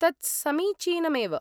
तत् समीचीनमेव।